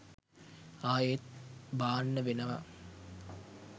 ආයෙත් බාන්න වෙනවා